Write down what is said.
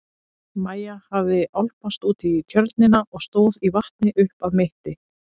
Maja hafði álpast út í tjörnina og stóð í vatni upp að mitti.